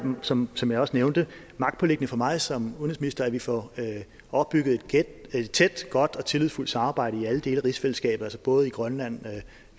som som jeg også nævnte magtpåliggende for mig som udenrigsminister at vi får opbygget et tæt godt og tillidsfuldt samarbejde i alle dele af rigsfællesskabet altså både i grønland